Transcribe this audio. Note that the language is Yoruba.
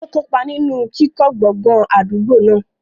Ó kópa nínú kíkọ́ gbọ̀ngàn àdúgbò náà.